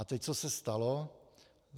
A teď - co se stalo.